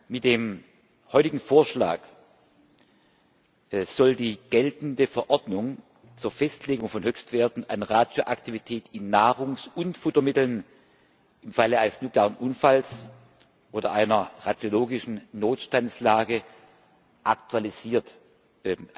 Mit dem heutigen Vorschlag soll die geltende Verordnung zur Festlegung von Höchstwerten an Radioaktivität in Nahrungs und Futtermitteln im Falle eines nuklearen Unfalls oder einer radiologischen Notstandslage aktualisiert bzw.